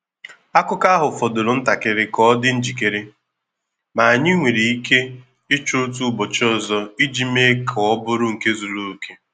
Akụ́kọ̀ ahụ fọdụrụ ntakịrị ka ọ dị njikere, ma anyị nwere ike ịchọ otu ụbọchị ọzọ iji mee ka ọ bụrụ nke zuru oke.